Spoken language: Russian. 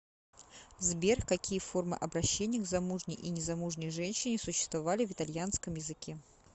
сбер какие формы обращения к замужней и незамужней женщине существовали в итальянском языке